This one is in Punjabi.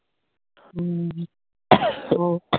ਹਮ ਹੋਰ